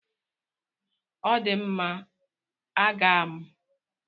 Ọ dị mma, a ga m.